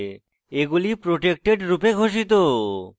এগুলি protected রূপে ঘোষিত